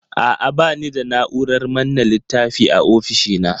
A'a, ba ni da na'urar manne littafi a ofishina.